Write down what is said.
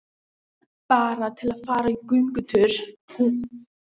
Bara til að fara í göngutúr með þau.